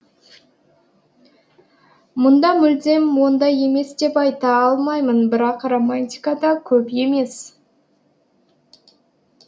мұнда мүлдем ондай емес деп айта алмаймын бірақ романтика да көп емес